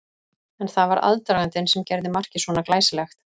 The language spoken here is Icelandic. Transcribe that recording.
En það var aðdragandinn sem gerði markið svona glæsilegt.